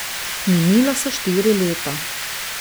Minila so štiri leta.